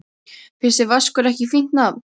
Finnst þér Vaskur ekki fínt nafn?